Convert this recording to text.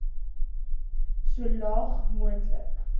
so laag moontlik